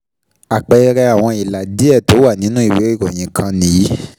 Àpẹẹrẹ àwọn ìlà díẹ tó wà nínú ìwé ìròyìn kan nìyí.